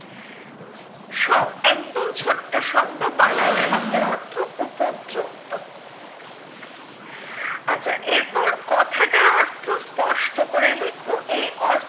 শ একদম ছোট্ট শব্দ বালাই শব্দের অর্থ উপদ্রব আচ্ছা এরপর কথাটার অর্থ স্পষ্ট করে লেখো এই অর্থটা